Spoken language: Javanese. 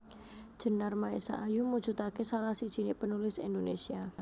Djenar Maesa Ayu mujudake salah sijiné penulis Indonesia